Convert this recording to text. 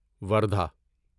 وردھا